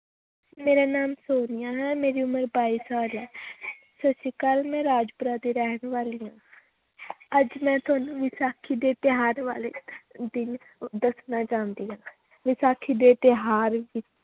ਮੇਰਾ ਨਾਂ ਸੋਨੀਆ ਹੈ ਮੇਰੀ ਉਮਰ ਬਾਈ ਸਾਲ ਹੈ ਸਤਿ ਸ੍ਰੀ ਅਕਾਲ ਮੈਂ ਰਾਜਪੁਰਾ ਦੀ ਰਹਿਣ ਵਾਲੀ ਹਾਂ ਅੱਜ ਮੈਂ ਤੁਹਾਨੂੰ ਵਿਸਾਖੀ ਦੇ ਤਿਉਹਾਰ ਬਾਰੇ ਦ~ ਦੱਸਣਾ ਚਾਹੁੰਦੀ ਹਾਂ ਵਿਸਾਖੀ ਦੇ ਤਿਉਹਾਰ